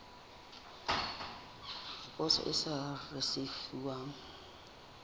ya poso e sa risefuwang